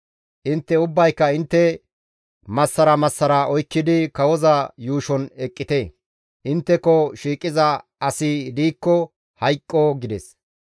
Intte ubbayka intte massara massara oykkidi kawoza yuushon eqqite; intteko shiiqiza asi diikko hayqqo» gides.